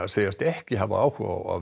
segjast ekki hafa áhuga á að